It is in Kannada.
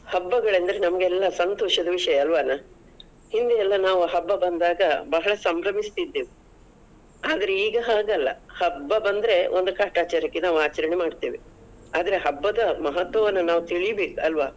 ಹಬ್ಬಗಳಂದ್ರೆ ನಮ್ಗೆಲ್ಲಾ ಸಂತೋಷದ ವಿಷಯ ಅಲ್ವಾನ? ಹಿಂದೆ ಎಲ್ಲ ನಾವು ಹಬ್ಬ ಬಂದಾಗ ಬಹಳ ಸಂಬ್ರಮಿಸುತಿದ್ದೆವು ಆದ್ರೆ ಈಗ ಹಾಗಲ್ಲ, ಹಬ್ಬ ಬಂದ್ರೆ ಒಂದು ಕಾಟಚಾರಕ್ಕೆ ನಾವು ಆಚರಣೆ ಮಾಡ್ತೇವೆ. ಆದ್ರೆ ಹಬ್ಬದ ಮಹತ್ವವನ್ನು ನಾವು ತಿಳಿಬೇಕಾಲ್ವಾ?